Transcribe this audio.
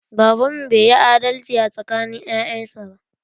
Baban mu bai yi adalci a tsakanin ƴaƴan sa ba.